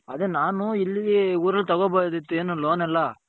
ಅದೇ ನಾನು ಇಲ್ಲಿ ಊರಲ್ಲಿ ತಗೊಬರ್ದ್ ಇತು loan ಅಲ್ಲ.